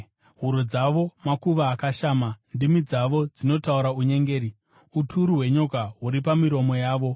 “Huro dzavo makuva akashama; ndimi dzavo dzinotaura unyengeri.” “Uturu hwenyoka huri pamiromo yavo.”